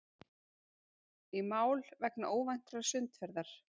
Í mál vegna óvæntrar sundferðar